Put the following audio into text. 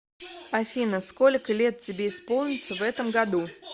афина сколько лет тебе исполнится в этом году